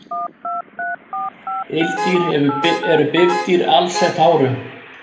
Ildýr eru bifdýr alsett hárum.